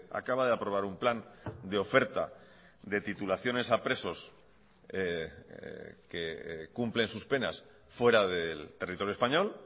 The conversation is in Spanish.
acaba de aprobar un plan de oferta de titulaciones a presos que cumplen sus penas fuera del territorio español